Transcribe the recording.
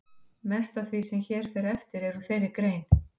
Mest af því sem hér fer eftir er úr þeirri grein.